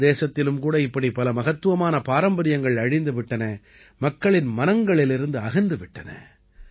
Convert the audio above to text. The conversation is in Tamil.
நமது தேசத்திலும் கூட இப்படி பல மகத்துவமான பாரம்பரியங்கள் அழிந்து விட்டன மக்களின் மனங்களிலிருந்து அகன்று விட்டன